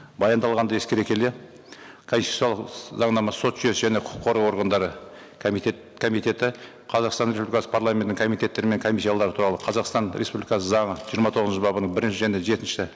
баяндалғанды ескере келе конституциялық заңнама сот жүйесі және құқық қорғау органдары комитеті қазақстан республикасы парламентінің комитеттері мен комиссиялары туралы қазақстан республикасы заңы жиырма тоғызыншы бабының бірінші және жетінші